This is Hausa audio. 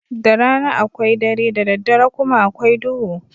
Da rana akwai dare, da daddare kuma akwai duhu.